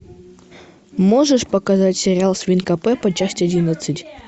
можешь показать сериал свинка пеппа часть одиннадцать